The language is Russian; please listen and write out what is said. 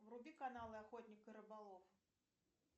вруби канал охотник и рыболов